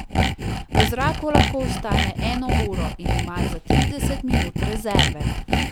V zraku lahko ostane eno uro in ima za trideset minut rezerve.